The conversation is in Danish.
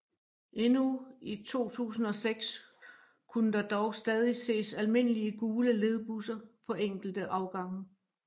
Endnu i 2006 kunne der dog stadig ses almindelige gule ledbusser på enkelte afgange